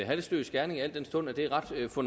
få